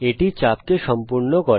এটি চাপকে সম্পূর্ণ করে